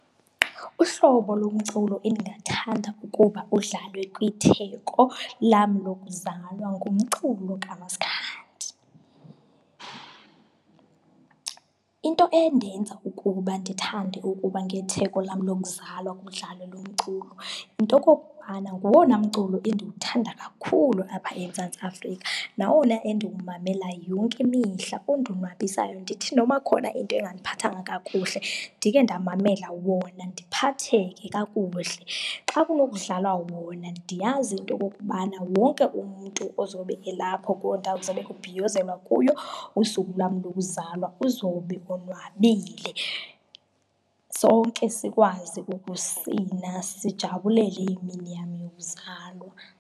Uhlobo lomculo endingathanda ukuba udlalwe kwitheko lam lokuzalwa ngumculo kamasikhandi. Into endenza ukuba ndithande ukuba ngetheko lam lokuzalwa kudlalwe lo mculo yinto okokubana ngowona mculo endiwuthanda kakhulu apha eMzantsi Afrika nawona endiwumamela yonke imihla, ondonwabisayo, ndithi noma kukhona into engandiphathanga kakuhle ndike ndamamela wona ndiphatheke kakuhle. Xa kunokudlalwa wona ndiyazi into okokubana wonke umntu ozobe elapho kuwo ndawo kuzabe kubhiyozelwa kuyo usuku lwam lokuzalwa uzobe onwabile, sonke sikwazi ukusina sijabulele imini yam yokuzalwa.